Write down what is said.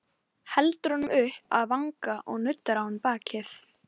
Fólkið vill ekki afneita guðum sínum.